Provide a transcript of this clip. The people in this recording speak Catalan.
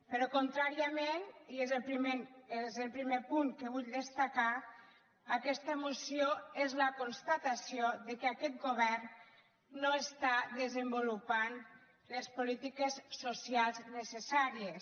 però contràriament i és el primer punt que vull destacar aquesta moció és la constatació que aquest govern no està desenvolupant les polítiques socials necessàries